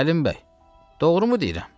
Səlim bəy, doğru mu deyirəm?